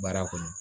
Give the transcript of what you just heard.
Baara kɔnɔ